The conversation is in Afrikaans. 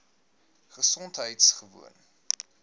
gesondheidgewoon